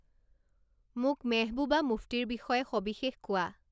মোক মেহবুবা মুফ্টিৰ বিষয়ে সৱিশেষ কোৱা